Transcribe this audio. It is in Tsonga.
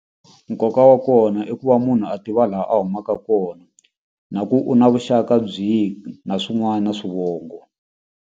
Nkoka wa kona i ku va munhu a tiva laha a humaka kona na ku u na vuxaka byihi na swin'wana na swivongo.